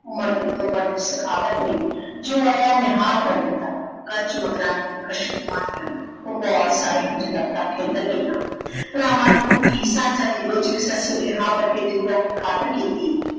ਉਮਰ ਤੇ ਤੁਮਰ ਦੀ ਸਿਖਾਵਤ ਨੇ ਜੋ ਆਇਆ ਨਿਹਾਲ ਕਰ ਦਿੱਤਾ। ਕੱਚ ਮਕਰਾਣ ਦੀ ਖੁਸ਼ਬੂਆਂ ਦੀਆਂ ਭੰਬੋਰ ਸਾਰੇ ਕਿਤੇ ਲਪਟਾਂ ਖਿਲਰ ਗਈਆਂ। ਭਰਾਵਾਂ ਦੀ ਭੁੱਖੀ ਸਾਂਝਾਂ ਦੀ ਲੋਚੀ ਸੱਸੀ ਨੇ ਹਾਵੜ ਕੇ ਦਿਓਰਾ ਦੀ ਖਾਤਿਰ ਕੀਤੀ।